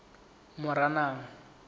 moranang